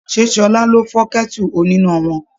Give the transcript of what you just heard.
Ṣé Ṣọlá ló fọ́ kẹ́tù oníná wọn?